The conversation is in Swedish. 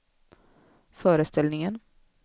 föreställningen